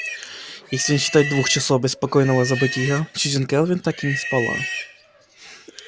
если не считать двух часов беспокойного забытья сьюзен кэлвин так и не спала